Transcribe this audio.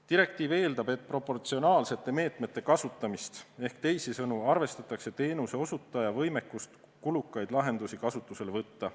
Direktiiv eeldab proportsionaalsete meetmete kasutamist, teisisõnu arvestatakse teenuseosutaja võimekust kulukaid lahendusi kasutusele võtta.